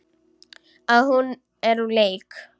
Að hún er úr leik.